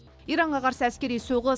иранға қарсы әскери соғыс